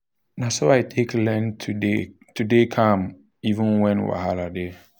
na so i take learn to dey calm even when wahala dey.